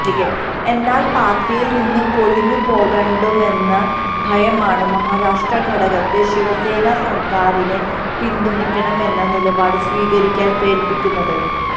എന്നാല് പാര്ട്ടിയില് നിന്ന് കൊഴിഞ്ഞുപോക്കുണ്ടാകുമെന്ന ഭയമാണ് മഹാരാഷ്ട്ര ഘടകത്തെ ശിവസേന സര്ക്കാരിനെ പിന്തുണയ്ക്കണമെന്ന നിലപാട് സ്വീകരിക്കാന് പ്രേരിപ്പിക്കുന്നത്